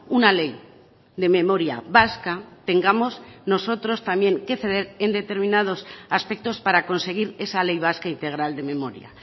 una ley de memoria vasca tengamos nosotros también que ceder en determinados aspectos para conseguir esa ley vasca integral de memoria